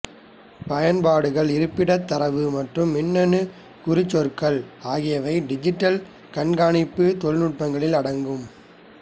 பயன்பாடுகள் இருப்பிடத் தரவு மற்றும் மின்னணு குறிச்சொற்கள் ஆகியவை டிஜிட்டல் கண்காணிப்பு தொழில்நுட்பங்களில் அடங்கும்